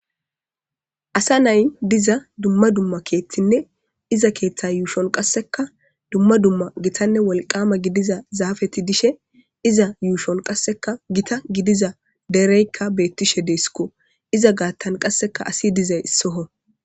Asa nay diza dumma dumma keethtinne iza keeththa yuushon qasseka dumma dumma gitanne wolqama gidiza zaafeti dishe iza yuushon qaseka gita gidiza dereykka beettishe deesikko iza gaattan qasseka asi dizay issoho.